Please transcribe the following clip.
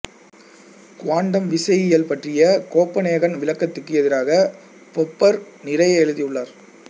quantum விசையியல் பற்றிய Copenhagen விளக்கத்துக்கு எதிராக பொப்பர் நிறைய எழுதியுள்ளார்